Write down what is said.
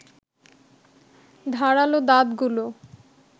ধারালো দাঁতগুলো